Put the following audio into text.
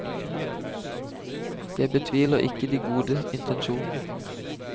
Jeg betviler ikke de gode intensjonene.